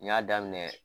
N y'a daminɛ